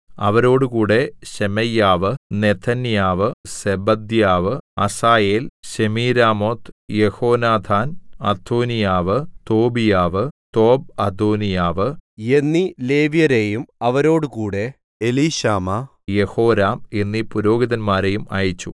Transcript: അവരോടുകൂടെ ശെമയ്യാവ് നെഥന്യാവ് സെബദ്യാവ് അസായേൽ ശെമീരാമോത്ത് യെഹോനാഥാൻ അദോനീയാവ് തോബീയാവ് തോബ്അദോനീയാവ് എന്നീ ലേവ്യരെയും അവരോടുകൂടെ എലീശാമാ യെഹോരാം എന്നീ പുരോഹിതന്മാരെയും അയച്ചു